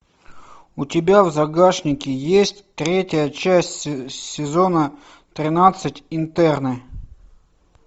у тебя в загашнике есть третья часть сезона тринадцать интерны